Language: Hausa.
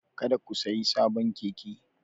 Kada ku sayi sabon keke!